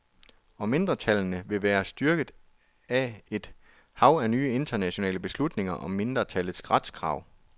Og mindretallene vil være styrket af et hav af nye internationale beslutninger om mindretals retskrav.